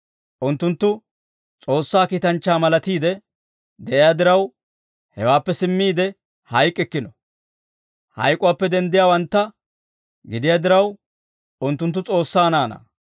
Unttunttu S'oossaa kiitanchchaa malatiide de'iyaa diraw, hewaappe simmiide hayk'k'ikkino. Hayk'uwaappe denddiyaawantta gidiyaa diraw unttunttu S'oossaa naanaa.